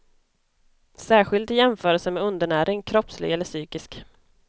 Särskilt i jämförelse med undernäring, kroppslig eller psykisk.